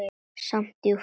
Samt djúp.